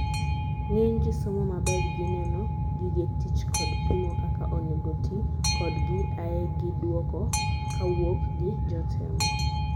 ng'eny jii somo maber gi neno gige tich kod pimo kaka onego tii kodgi ae gi duoko kawuok gi jotemo